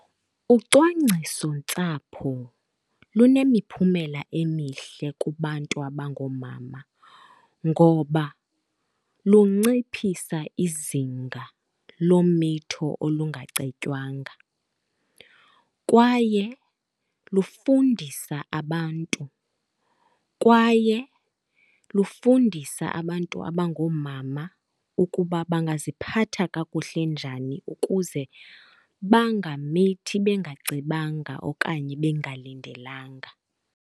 Ucwangcisontsapho lunemiphumela emihle kubantu abangoomama ngoba lunciphisa izinga lomitho olungacetywanga, kwaye lufundisa abantu, kwaye lufundisa abantu abangoomama ukuba bangaziphatha kakuhle njani ukuze bangamithi bengacebanga okanye bengalindelanga.